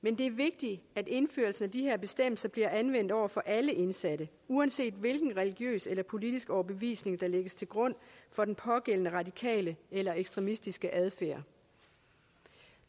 men det er vigtigt at indførelsen af de her bestemmelser bliver anvendt over for alle indsatte uanset hvilken religiøs eller politisk overbevisning der lægges til grund for den pågældende radikale eller ekstremistiske adfærd